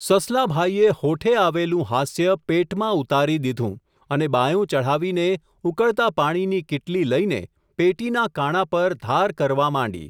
સસલા ભાઈએ, હોઠે આવેલું હાસ્ય, પેટમાં ઉતારી દીધું, અને બાંયો ચઢાવીને ઊકળતા પાણીની કીટલી લઈને, પેટીના કાણા પર ધાર કરવા માંડી.